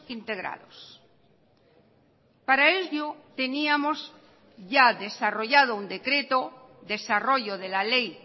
integrados para ello teníamos ya desarrollado un decreto desarrollo de la ley